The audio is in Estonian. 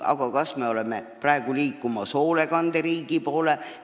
Aga kas me liigume ka hoolekanderiigi poole?